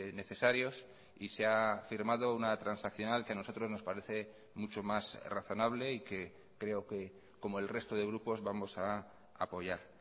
necesarios y se ha firmado una transaccional que a nosotros nos parece mucho más razonable y que creo que como el resto de grupos vamos a apoyar